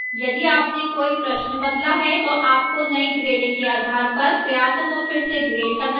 यदि आपने कोई प्रश्न बदला है तो आपको नई grading के आधार पर प्रयासों को फिर से regrade करना चाहिए